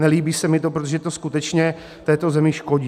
Nelíbí se mi to, protože to skutečně této zemi škodí.